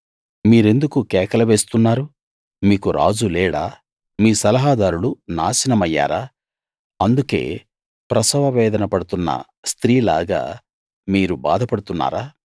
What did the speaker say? మీరెందుకు కేకలు వేస్తున్నారు మీకు రాజు లేడా మీ సలహాదారులు నాశనమయ్యారా అందుకే ప్రసవ వేదన పడుతున్న స్త్రీ లాగా మీరు బాధపడుతున్నారా